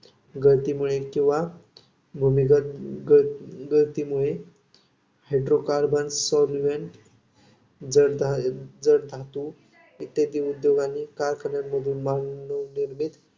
गळतीमुळे किंवा गगगळतीमुळे hydro carbons solvent जडजड धातू इत्यादी उद्योग आणि कारखान्यामधून मानवनिर्मित